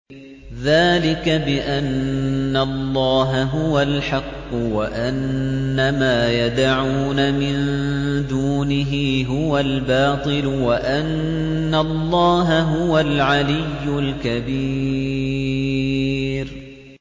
ذَٰلِكَ بِأَنَّ اللَّهَ هُوَ الْحَقُّ وَأَنَّ مَا يَدْعُونَ مِن دُونِهِ هُوَ الْبَاطِلُ وَأَنَّ اللَّهَ هُوَ الْعَلِيُّ الْكَبِيرُ